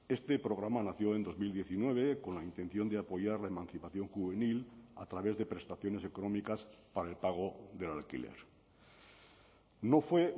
este programa nació en dos mil diecinueve con la intención de apoyar la emancipación juvenil a través de prestaciones económicas para el pago del alquiler no fue